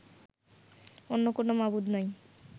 অন্য কোনও মাবুদ নাই